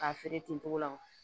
K'a feere ten togo la wa